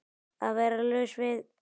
Að vera laus við